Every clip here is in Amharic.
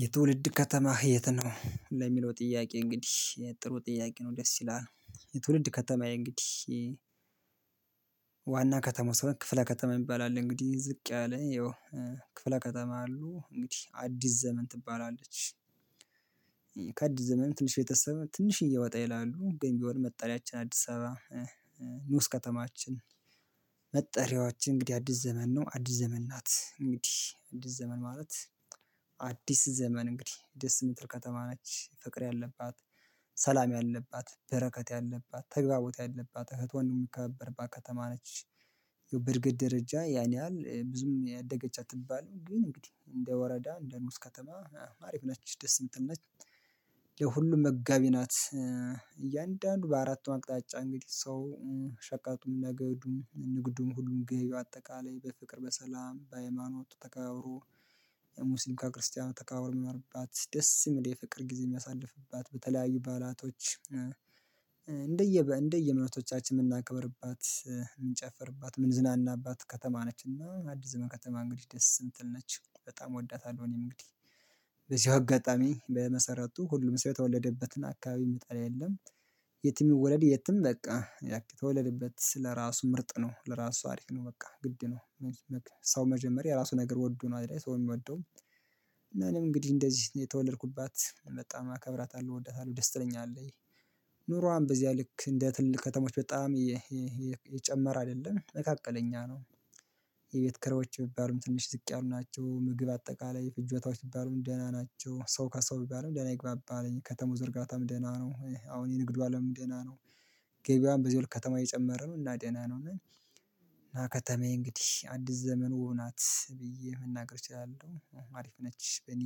የትውልድ ከተማ የት ነው ለሚለው ጥያቄ እንግዲህ ጥሩ ጥያቄ ነው ደስ ይላል። የትውልድ ከተማዬ እንግዲህ ዋና ከተማው ስራ ክፍለ ከተማ ይባላል። እንግዲህ ዝቅ ያለ ያው ክፍለ ከተማ አሉ እንግዲህ አዲስ ዘመን ትባላለች። ከአዲስ ዘመን ትንሽ የተወሰነ ትንሽ ወጣ ይላሉ ግን ቢሆን መጠሪያችን አዲስ አበባ ንዑስ ከተማችን። መጠሪያዎች እንግዲህ አዲስ ዘመን ነው አዲስ ዘመን ናት እንግዲህ አዲስ ዘመን ማለት አዲስ ዘመን እንግዲህ ደስ የምትል ከተማ ናት። ፍቅር ያለባት ሰላም ያለባት በረከት ያለባት ተግባቦት ያለባት እህት ወንድ የምትከበርባት ከተማ ነች። ይሄው በእድገት ደረጃ ያን ያህል ብዙም ያደገች ያደገቻት ትባል ግን እንግዲህ እንደ ወረዳ እንደ ንዑስ ከተማ አሪፍ ነች ደስ የምትል ነች። የሁሉም መጋቢ ናት እያንዳንዱ በአራቱም አቅጣጫ እንግዲህ ሰው ሸቀጡም ንግዱም ንግዱም ሁሉም ገይ አጠቃላይ በፍቅር በሰላም በሃይማኖት ተከባብሮ ሙስሊም ከ ክርስቲያን ተከባብሮ የሚኖርባት ደስ የሚል የፍቅር ጊዜ የሚያሳልፍባት በተለያዩ ባላቶች። እንደየ እምነቶቻችን የምናከብርባት የምንጨፍርባት ምን ዝናናባት ከተማ ነችና አዲስ ዘመን ከተማ እንግዲህ ደስ የምትል ነች በጣም እወዳታለሁ። እኔ እንግዲህ በዚህ አጋጣሚ በመሰረቱ ሁሉም ሰው የተወለደበትና አካባቢ የምትጠራ የለም። የት የሚወለድ የትም በቃ ተወለደበት ስለራሱ ምርጥ ነው ለራሱ አሪፍ ነው በቃ ግድ ነው። ሰው መጀመሪያ ራሱ ነገር ወዶ ነው አይደል ሰው የምወደው። እና እኔም እንግዲህ እንደዚህ ነው የተወለድኩባት በጣም አከብራታለሁ እወዳታለሁ ደስተኛ አለኝ። ኑሮዋም በዚያ ልክ እንደ ትልቅ ከተሞች በጣም የጨመረ አይደለም መካከለኛ ነው። የቤት ክሮች ቢባሉም ትንሽ ዝቅ ያሉ ናቸው ምግብ አጠቃላይ ፍጆታዎች ቢባሉም ደህና ናቸው ሰው ከሰው ቢባሉም ደህና ይግባባል ከተማዋ እርጋታም ደህና ነው አሁን የንግድ አለም ደህና ነው። ገበያም በዚህ ወርቅ ከተማ የጨመረ ነው እና ደህና ነው። እና ከተማዬ እንግዲህ አዲስ ዘመኑ ናት ብዬ የምናገር እችላለሁ አሪፍ ነች በእኔ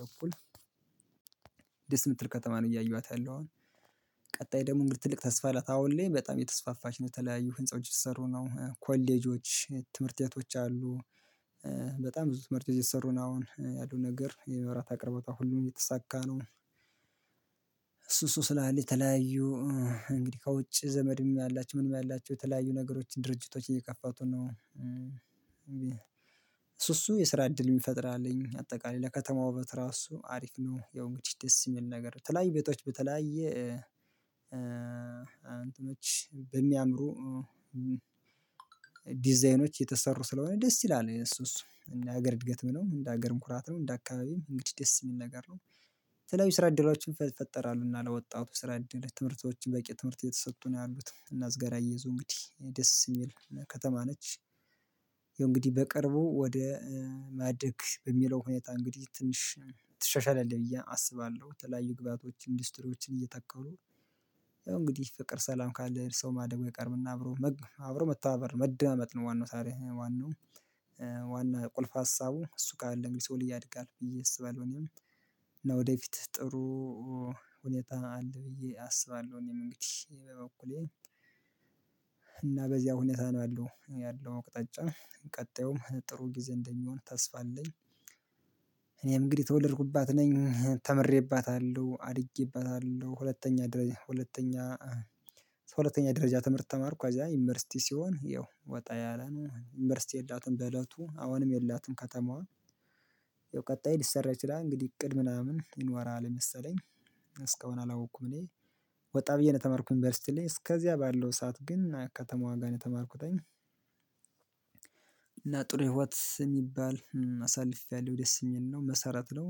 በኩል። ደስ የምትል ከተማ ነው እያየኋት ያለው አሁን። ቀጣይ ደግሞ እንግዲህ ትልቅ ተስፋ ላታውል በጣም የተስፋፋች ነው የተለያዩ ህንፃዎች ስትሰሩ ነው ኮሌጆች ትምህርት ቤቶች አሉ። በጣም ብዙ ትምህርት የሰሩን አሁን ያለው ነገር የመብራት አቅርቦታ ሁሉም እየተሳካ ነው። እሱ ስላለ የተለያዩ እንግዲህ ከውጭ ዘመድም ያላቸው ምንም ያላቸው የተለያዩ ነገሮች ድርጅቶች እየከፋቱ ነው። እሱ እሱ የስራ እድል የሚፈጥር አለኝ አጠቃላይ ለከተማው ውበት ራሱ አሪፍ ነው ያው እንግዲህ ደስ የሚል ነገር ትላኝ ቤቶች በተለያየ። አንተኖች በሚያምሩ ዲዛይኖች የተሰሩ ስለሆነ ደስ ይላል። እሱ እሱ ሀገር እድገት ምነው እንደ ሀገር ምኩራት ነው እንደ አካባቢ እንግዲህ ደስ የሚል ነገር ነው። ስለው የስራ እድሎች ይፈጠራሉ ለወጣቱ ስራ ትምህርቶችን በቂ ትምህርት እየተሰጡ ነው ያሉት እና እዝገራ እየዙ እንግዲህ ደስ የሚል ከተማ ነች። እንግዲህ በቅርቡ ወደ ማደግ በሚለው ሁኔታ እንግዲህ ትንሽ ትሻሻላለች ብዬ አስባለሁ ተለያዩ ግብአቶችን ኢንዱስትሪዎችን እየተከሉ። ያው እንግዲህ ፍቅር ሰላም ካለ ሰው ማደቡ ይቀርብና አብሮ አብሮ መተባበር መዳመጥ ነው ዋናው ታሪክ ዋናው። ዋና ቁልፍ ሀሳቡ እሱ ጋር አለን ቢሰው ልዬ አድጋለሁ ብዬ እስባለሁ እኔም። እና ወደፊት ጥሩ ሁኔታ አለ ብዬ አስባለሁ እኔ መንግስት በበኩሌ። እና በዚያ ሁኔታ ነው ያለው ያለው ቅጣጫ ቀጣዩም ጥሩ ጊዜ እንደሚሆን ተስፋ አለኝ። እኔ እንግዲህ ተወደድኩባት ነኝ ተምሬባታለሁ አድጌባታለሁ ሁለተኛ ደረጃ ሁለተኛ ሁለተኛ ደረጃ ትምህርት ተማርኩ አዛ ዩኒቨርሲቲ ሲሆን ይው ወጣ ያለ ነው ዩኒቨርሲቲ የላትም በእለቱ አሁንም የላትም ከተማዋ። ያው ቀጣይ ሊሰራ ይችላል እንግዲህ እቅድ ምናምን ይኖራል መሰለኝ። እስካሁን አላወቅኩም እኔ ወጣ ብዬ ነው የተማርኩኝ ዩኒቨርሲትይ ላይ እስከዚያ ባለው ሰዓት ግን አያካተሙ ዋጋ ነው የተማርኩት። እና ጥሩ ህይወት የሚባል አሳልፌያለሁ ደስ ይለኛል መሰረት ነው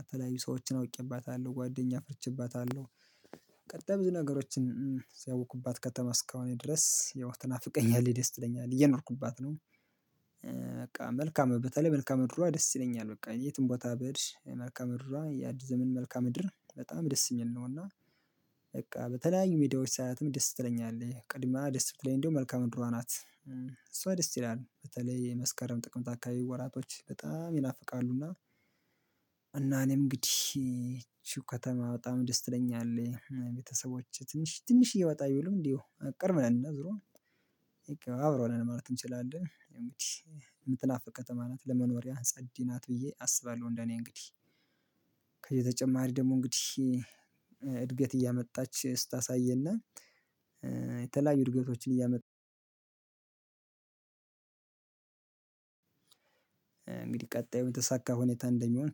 አተላዩ ሰዎችን አውቄባታለሁ ጓደኛ ፍርቼባታለሁ። ብዙ ነገሮችን ሲያውቁባት ከተማ እስካሁን ድረስ ያው ተናፍቀኛል ደስ ይለኛል እየኖርኩባት ነው። በቃ መልካም በተለይ መልካም ምድሯ ደስ ይለኛል በቃ የትም ቦታ በድሽ መልካም ምድሯ ያድዝምን መልካም ምድር በጣም ደስ ይለኛል። እና በቃ በተለያዩ ሜዳዎች ሳይላትም ደስ ትለኛለህ ቅድምያው ደስ ብትለኝ እንደውም መልካም ምድሯ ናት እሷ ደስ ይላል በተለይ የመስከረም ጥቅም ታካቢ ወራቶች በጣም ይናፍቃሉ እና። እና እኔም እንግዲህ እሺ ከተማ በጣም ደስ ትለኛለህ ቤተሰቦች ትንሽ ትንሽ እየወጣ ቢሉም እንዲሁ ቅርብ ምናምን ነው ዙሮ አብሮ ነው ማለት እንችላለን። የምትናፍቀው ቀጠማ ናት ለመኖሪያ አንጻድ እዲህ ናት ብዬ አስባለሁ እንደኔ እንግዲህ። ከየተጨማሪ ደግሞ እንግዲህ እድገት እያመጣች ስታሳይና። የተለያዩ እድገቶችን እያመጣች። እንግዲህ ቀጣዩ የተሳካ ሁኔታ እንደሚሆን